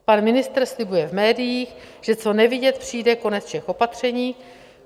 Pan ministr slibuje v médiích, že co nevidět přijde konec všech opatření.